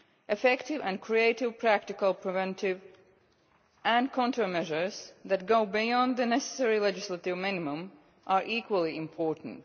Effective and creative practical preventive and counter measures that go beyond the necessary legislative minimum are equally important.